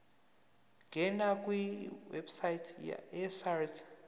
ngena kwiwebsite yesars